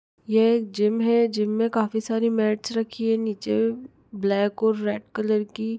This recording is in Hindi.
ये एक जिम है जिम में काफी सारी मेट्स रखी है नीचे ब्लैक और रेड कलर की।